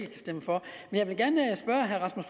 stemme for